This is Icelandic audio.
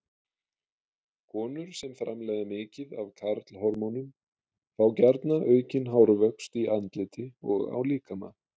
Konur sem framleiða mikið af karlhormónum fá gjarna aukinn hárvöxt í andliti og á líkama.